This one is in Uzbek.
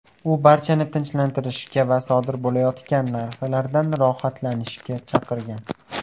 U barchani tinchlanishga va sodir bo‘layotgan narsalardan rohatlanishga chaqirgan.